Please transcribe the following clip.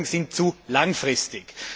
Die Folgen sind zu langfristig.